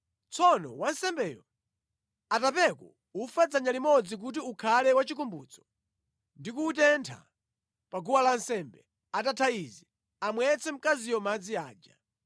Tsono wansembeyo atapeko ufa dzanja limodzi kuti ukhale wachikumbutso ndi kuwutentha pa guwa lansembe. Atatha izi, amwetse mkaziyo madzi aja.